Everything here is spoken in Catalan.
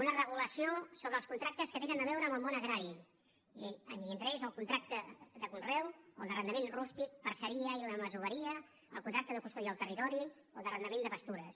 una regulació sobre els contractes que tenen a veure amb el món agrari i entre ells el contracte de conreu o d’arrendament rústic parceria i la masoveria el contracte de custòdia del territori el d’arrendament de pastures